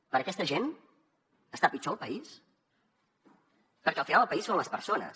per a aquesta gent està pitjor el país perquè al final el país són les persones